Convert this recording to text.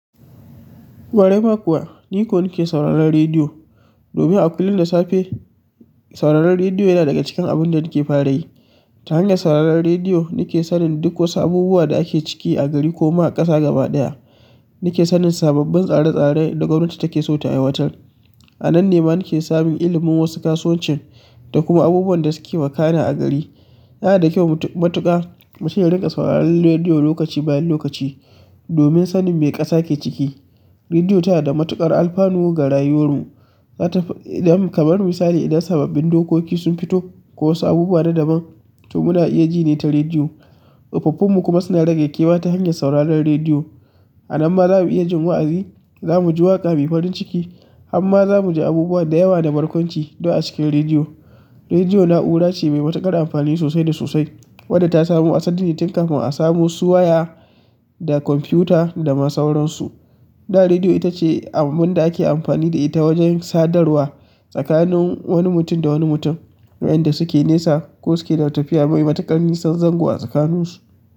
Ƙwarai ma kuwa ni ko nake sauraron rediyo domin a kullum da safe sauraron rediyo yana daga cikin abun da nake fara yi. Ta hanyar sauraron rediyo, nake sanin duk wasu abubuwa da ake ciki a gari ko ma a ƙasa gaba ɗaya. Nake sanin sababbin tsare-tsare da gwamnati take so ta aiwatar. A nan ne ma nake samun ilimin wasu kasuwancin da kuma abubuwan da suke wakana a gari. Yana da kyau matuƙa mutum ya ringa sauraron rediyo lokaci bayan lokaci domin sanin me ƙasa ke ciki. Rediyo ta da matuƙar alfanu ga rayuwarmu. Zata, fad zam kamar misali idan sababbin dokoki sun fito ko wasu abubuwa na daban, to muna iya ji ne ta rediyo. Tsofaffinmu kuma suna rage kewa ta hanyar sauraron rediyo. A nan ma za mu iya jin wa'azi, za mu ji waƙa mai farin ciki, hamma za mu ji abubuwa da yawa da barkwanci duk a cikin rediyo. Rediyo na'ura ce mai matuƙar amfani sosai da sosai wadda ta samo asali tun kafin a samu su waya da kwamfiyuta da ma sauransu. Da rediyo ita ce abun da ake amfani da ita wajen sadarwa tsakanin wani mutum da wani mutum wanda suke nesa ko suke da tafiya mai matuƙar nisan zango a tsakaninsu.